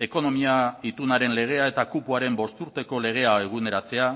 ekonomia itunaren legea eta kupoaren bosturteko legea eguneratzea